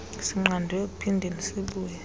sinqandwe ekuphindeni sibuye